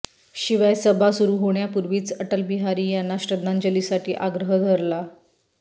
शिवाय सभा सुरू होण्यापूर्वीच अटलबिहारी यांना श्रध्दांजलीसाठी आग्रह धरला